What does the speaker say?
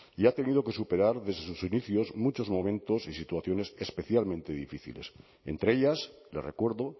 y ha tenido que superar desde sus inicios muchos momentos y situaciones especialmente difíciles entre ellas le recuerdo